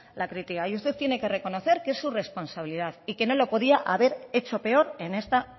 la crítica y usted tiene que reconocer que es su responsabilidad y que no lo podía haber hecho peor en esta